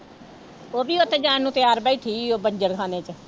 ਉਹ ਵੀ ਉੱਥੇ ਜਾਣ ਨੂੰ ਤਿਆਰ ਬੈਠੀ ਸੀ ਉਹ ਬੰਜਰ ਖਾਨੇ ਚ